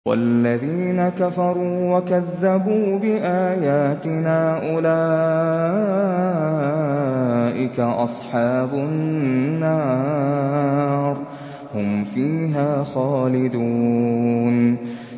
وَالَّذِينَ كَفَرُوا وَكَذَّبُوا بِآيَاتِنَا أُولَٰئِكَ أَصْحَابُ النَّارِ ۖ هُمْ فِيهَا خَالِدُونَ